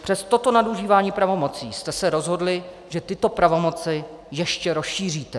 Přes toto nadužívání pravomocí jste se rozhodli, že tyto pravomoci ještě rozšíříte.